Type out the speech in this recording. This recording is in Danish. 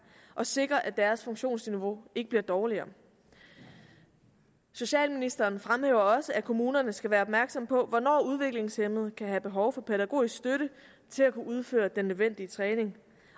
og sikre at deres funktionsniveau ikke bliver dårligere socialministeren fremhæver også at kommunerne skal være opmærksomme på hvornår udviklingshæmmede kan have behov for pædagogisk støtte til at kunne udføre den nødvendige træning